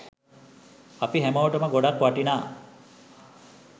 අපි හැමෝටම ගොඩක් වටිනා